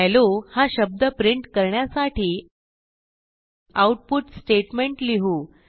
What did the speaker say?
hello हा शब्द print करण्यासाठी आऊटपुट स्टेटमेंट लिहू